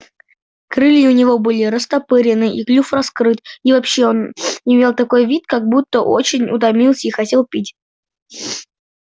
крылья у него были растопырены и клюв раскрыт и вообще он имел такой вид как будто очень утомился и хотел пить